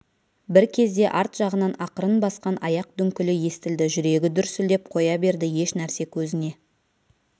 бір кезде арт жағынан ақырын басқан аяқ дүңкілі естілді жүрегі дүрсілдеп қоя берді еш нәрсе көзіне